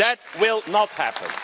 That will not happen.